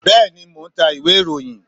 bẹẹni, mo n ta íwe-irohín